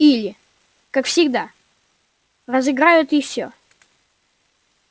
или как всегда разыграют и всё